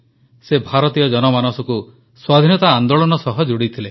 ସେ ଭାରତୀୟ ଜନମାନସକୁ ସ୍ୱାଧୀନତା ଆନେ୍ଦାଳନ ସହ ଯୋଡ଼ିଥିଲେ